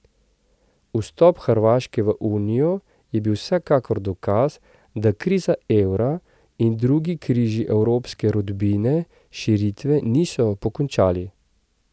Vstop Hrvaške v unijo je bil vsekakor dokaz, da kriza evra in drugi križi evropske rodbine širitve niso pokončali.